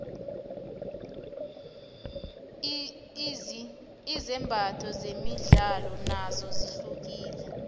izimbatho zemidlalo nozo zihlukile